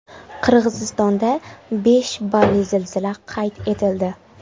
Qirg‘izistonda besh balli zilzila qayd etildi.